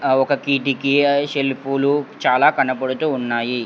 ఒక కిటికీ ఆ షెల్ఫ్ లు చాలా కనపడుతూ ఉన్నాయి.